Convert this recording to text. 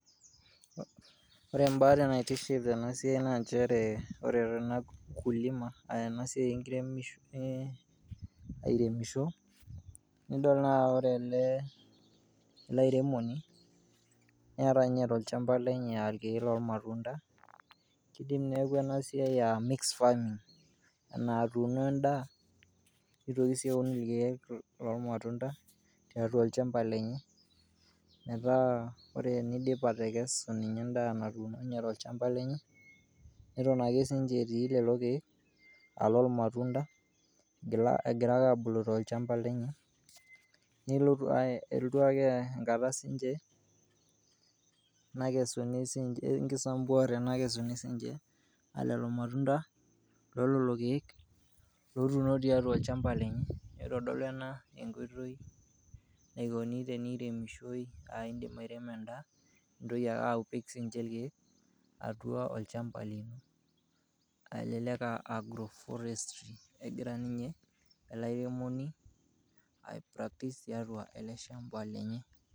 Ore embate naitiship tena siai naa nchere ore tena kulima a ena siai enkiremisho airemisho, nidol naa ore ele ele airemoni neeta nye tolchamba lenye a irkeek lormatunda, kidim neeku ena siai a mixed farming enaa atuno endaa nitoki sii aun irkeek lormatunda tiatua olchamba lenye, metaa ore inidip atekesu ninye endaa natuuno nye tolchamba lenye, eton ake siinje etii lelo keek a lormatunda egira ake abulu tolchamba lenye nelotu ake eendu ake enkata siinje nakesuni siinje enkisambuare nakesuni siinje lelo matunda lo lelo keek lotuuno tiatua olchamba lenye. Itodolu ena enkoitoi naikoni teniremishoi aa indim airemo endaa nintoki ake apik siinje irkeek atua ilchambai, elelek a agroforestry egira ninye ele airemoni aipractice tiatua ele shamba lenye.